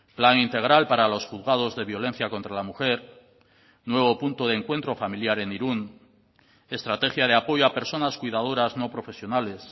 plan integral para los juzgados de violencia contra la mujer nuevo punto de encuentro familiar en irún estrategia de apoyo a personas cuidadoras no profesionales